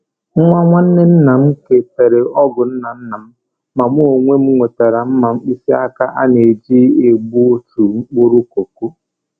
Nwa nwanne nnam ke tere ọgụ nna nnam, ma mụ onwe m nwetara mma mkpịsị aka a na-eji egbutu mkpụrụ koko.